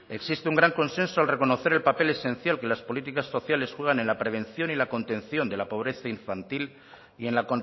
existe un gran consenso al reconocer el papel esencial que las políticas sociales juegan en la prevención y la contención de la pobreza infantil y en la